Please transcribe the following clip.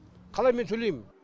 қалай мен төлеймін